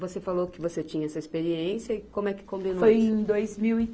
Você falou que você tinha essa experiência e como é que combinou isso? Foi em dois mil e